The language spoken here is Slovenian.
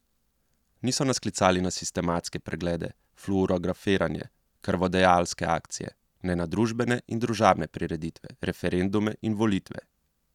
Niso nas klicali na sistematske preglede, fluorografiranje, krvodajalske akcije, ne na družbene in družabne prireditve, referendume in volitve.